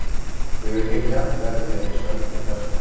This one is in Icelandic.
Hughyggja verður því ekki sönnuð með þessum hætti.